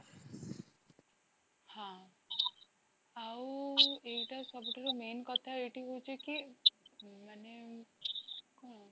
ହଁ ଆଉ ଏଇଟା ସବୁଠୁ main କଥା ଏଇଠି ହୋଉଛି କି ମାନେ କଣ?